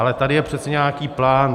Ale tady je přece nějaký plán.